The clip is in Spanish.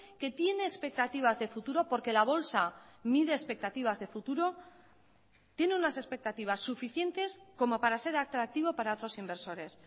que tiene expectativas de futuro porque la bolsa mide expectativas de futuro tiene unas expectativas suficientes como para ser atractivo para otros inversores